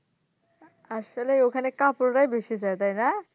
আসলে ওখানে couple রাই বেশি যায় তাইনা?